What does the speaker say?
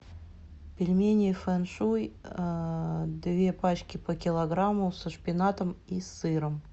пельмени фэн шуй две пачки по килограмму со шпинатом и сыром